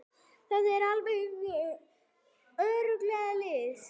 Það er algjör lygi.